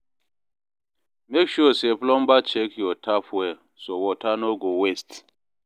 Make sure say plumber check your tap well, so water no go waste.